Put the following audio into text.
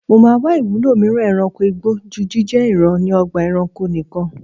Mo máa wá ìwúlò mìíràn e̩ranko igbó ju jíjé̩ ìran ni o̩gbà e̩ranko nikan.